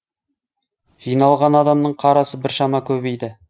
жиналған адамның қарасы біршама көбейді